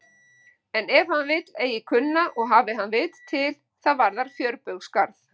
En ef hann vill eigi kunna og hafi hann vit til, það varðar fjörbaugsgarð.